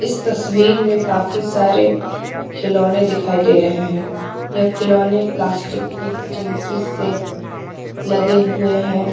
इस तस्वीर में काफी सारे खिलौने दिखाई दे रहे हैं यह खिलौने प्लास्टिक की चिमकी से लगे हुए हैं।